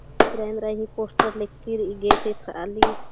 तारिंगा ही पोस्टर लिक्की री गेट येथरा ली--